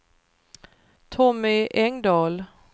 Tommy Engdahl